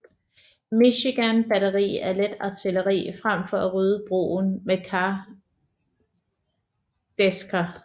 Michigan batteri af let artilleri frem for at rydde broen med kardæsker